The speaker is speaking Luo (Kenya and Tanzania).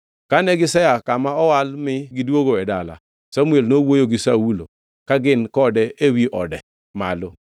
Kane gisea e kama owal mi gidwogo e dala, Samuel nowuoyo gi Saulo ka gin kode ewi ode malo.